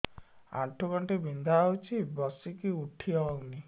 ଆଣ୍ଠୁ ଗଣ୍ଠି ବିନ୍ଧା ହଉଚି ବସିକି ଉଠି ହଉନି